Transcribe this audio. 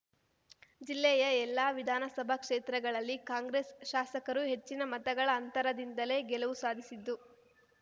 ಜಿಲ್ಲೆಯ ಎಲ್ಲ ವಿಧಾನಸಭಾ ಕ್ಷೇತ್ರಗಳಲ್ಲಿ ಕಾಂಗ್ರೆಸ್‌ ಶಾಸಕರು ಹೆಚ್ಚಿನ ಮತಗಳ ಅಂತರದಿಂದಲೇ ಗೆಲುವು ಸಾಧಿಸಿದ್ದು